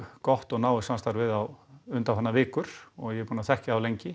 gott og náið samstarf við þá undanfarnar vikur og ég er búinn að þekkja þá lengi